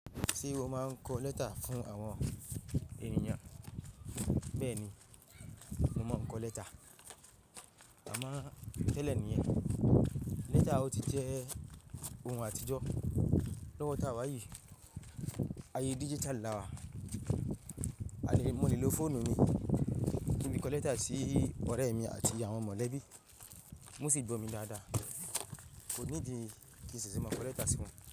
Ṣé o máa ń kọ lẹ́tà fún àwọn ènìyàn? Bẹ́ẹ̀ni, mo máa ń kọ lẹ́tà. Àmọ́ tẹ́lẹ̀ nìyẹn. Lẹ́tà ò tí jẹ́ ohun àtijọ́ lọ́wọ́ táwá yi. Ayé digital la wa. Àní mo nílò fóònù mi kí n kọ lẹ́tà sí ọ̀rẹ́ mi àti àwọn mọ̀lẹ́bí. Wọ́n sì gbọ̀ mí dáadáa. Kò needi ìṣese máa kọ lẹ́tà si wọn.